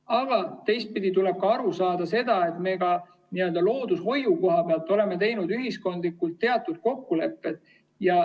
Aga teistpidi tuleb aru saada, et me ka loodushoiu koha peal oleme teinud ühiskondlikult teatud kokkulepped.